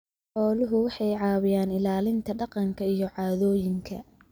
Xooluhu waxay caawiyaan ilaalinta dhaqanka iyo caadooyinka.